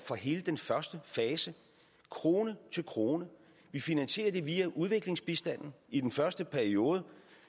for hele den første fase krone til krone vi finansierer det via udviklingsbistanden i den første periode